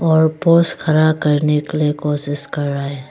और पोस खड़ा करने के लिए कोशिश कर रहे है।